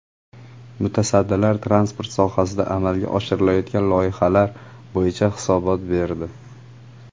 Mutasaddilar transport sohasida amalga oshirilayotgan loyihalar bo‘yicha hisobot berdi.